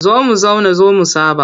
Zo mu zauna zo mu saɓa.